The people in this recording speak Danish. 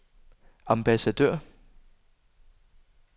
ambassadør